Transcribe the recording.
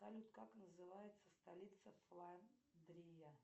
салют как называется столица сландрия